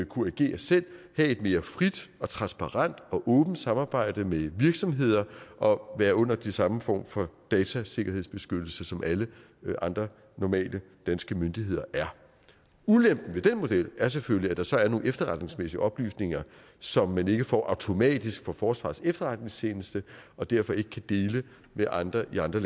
kunne agere selv have et mere frit og transparent og åbent samarbejde med virksomheder og være under den samme form for datasikkerhedsbeskyttelse som alle andre normale danske myndigheder er ulempen ved den model er selvfølgelig at der så er nogle efterretningsmæssige oplysninger som man ikke får automatisk fra forsvarets efterretningstjeneste og derfor ikke kan dele med andre i andre